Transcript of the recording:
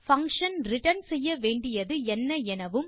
function return செய்ய வேண்டியது என்ன எனவும்